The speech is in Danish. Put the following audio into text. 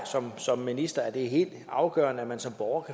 som minister er det helt afgørende at man som borger